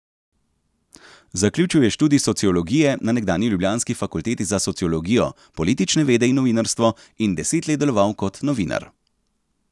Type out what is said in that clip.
Zaključil je študij sociologije na nekdanji ljubljanski Fakulteti za sociologijo, politične vede in novinarstvo in deset let deloval kot novinar.